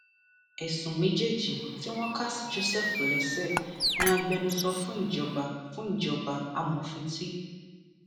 ẹsùn méjèèjì tí wọn kà sí joseph lẹsẹ ni agbẹnusọ fún ìjọba fún ìjọba amòfin t